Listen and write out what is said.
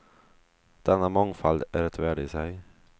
Denna mångfald är ett värde i sig.